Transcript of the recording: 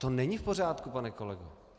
To není v pořádku, pane kolego!